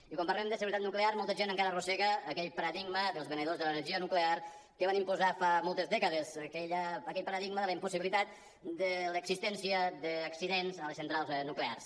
i quan parlem de seguretat nuclear molta gent encara arrossega aquell paradigma dels venedors de l’energia nuclear que van imposar fa moltes dècades aquell paradigma de la impossibilitat de l’existència d’accidents a les centrals nuclears